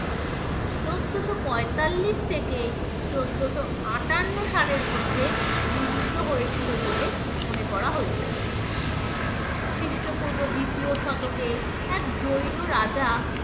চোদ্দোশো পঁয়তাল্লিশ থেকে চোদ্দোশো-আটান্ন সালের মধ্যে নির্মিত হয়েছিল বলে মনে করা হয়ে থাকে খ্রিস্টপূর্ব দ্বিতীয় শতকে এক জৈন রাজা